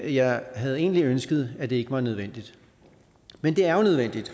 jeg havde egentlig ønsket at det ikke var nødvendigt men det er jo nødvendigt